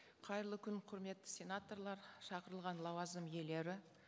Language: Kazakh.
қайырлы күн құрметті сенаторлар шақырылған лауазым иелері